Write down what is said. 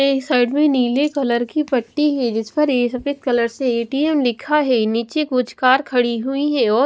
एक साइड में नीले कलर की पट्टी है जिस पर ये सफेद कलर से ए_टी_एम लिखा है नीचे कुछ कार खड़ी हुई है और--